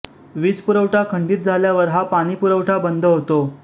वीज पुरवठा खंडीत झाल्यावर हा पाणीपुरवठा बंद होतो